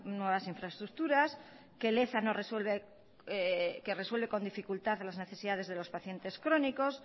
nuevas infraestructuras que leza resuelve con dificultad las necesidades de los pacientes crónicos